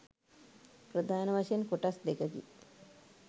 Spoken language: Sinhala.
ප්‍රධාන වශයෙන් කොටස් දෙකකි.